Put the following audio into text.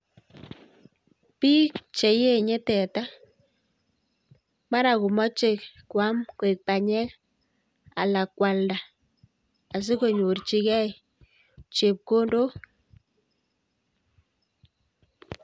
Biik che enye teta, mara komoche kwam kwek panyek anan kwalda asikonyorchigei chepkondok.